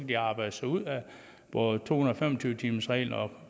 de arbejde sig ud af både to hundrede og tyve timersreglen og